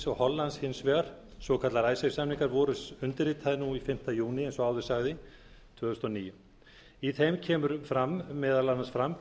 og hollands hins vegar svokallaðir samningar voru undirritaðir fimmta júní tvö þúsund og níu eins og áður sagði í þeim kemur meðal annars fram